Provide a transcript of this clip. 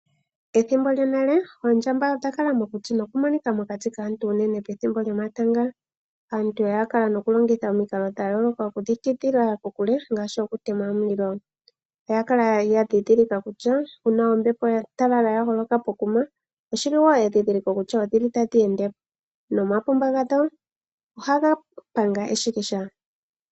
Pethimbo lyonale oondjamba odha kala momakuti nodhali hadhi monika ashike unene pethimbo lyomatanga. Aantu oya kala nokulongitha omikalo dhayooloka okudhi tidhila kokule ngaashi okutema omulilo. Oya kala yandhidhilika kutya uuna ombepo ya talala yaholoka pokuma endhidhiliko kutua otadhi endepo . Omapumba gadho ohaga panga eshikisha.